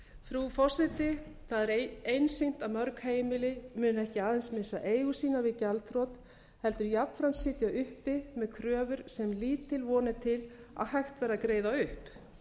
frú forseti það er einsýnt að mörg heimili muni ekki aðeins missa eigur sínar við gjaldþrot heldur jafnframt sitja uppi með kröfur sem lítil von er til að hægt verði að greiða upp